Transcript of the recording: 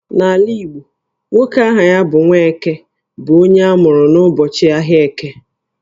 N'ala Igbo, nwoke aha ya bụ 'Nwaeke' bụ onye amụrụ n'ụbọchị ahịa Eke